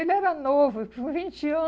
Ele era novo, tinha uns vinte